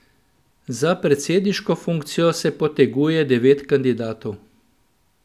Za predsedniško funkcijo se poteguje devet kandidatov.